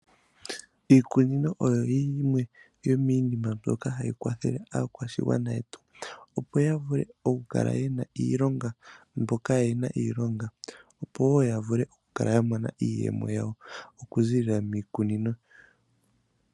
Iikunino oyo yimwe yomiinima mboka hayi kwathele aakwashigwana yetu opo yavule okukala yena iilonga mboka kayena iilonga opo yavule okukala yamona iiyemo yawo okuziilila miikunino.